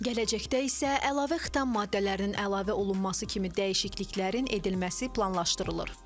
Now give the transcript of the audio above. Gələcəkdə isə əlavə xitam maddələrinin əlavə olunması kimi dəyişikliklərin edilməsi planlaşdırılır.